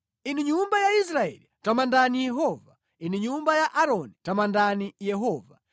Inu nyumba ya Israeli, tamandani Yehova; inu nyumba ya Aaroni, tamandani Yehova;